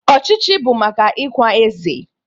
Ọchịchịrị bụ maka ikwa eze